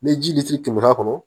Ni ji litiri kɛmɛ kɔnɔ